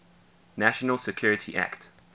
national security act